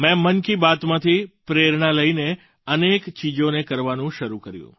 મેં મન કી બાતમાથી પ્રેરણા લઈને અનેક ચીજોને કરવાનું શરૂ કર્યું